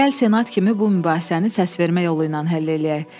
Gəl senat kimi bu mübahisəni səsvermə yolu ilə həll eləyək.